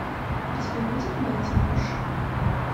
у тебя будет майти буш